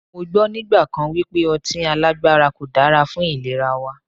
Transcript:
Mọ gbọ́ nígbà kan wípé ọtí alágbára kò dára fún ìlera wa.